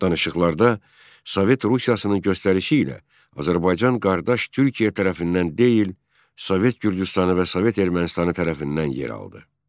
Danışıqlarda Sovet Rusiyasının göstərişi ilə Azərbaycan qardaş Türkiyə tərəfindən deyil, Sovet Gürcüstanı və Sovet Ermənistanı tərəfindən yer aldı.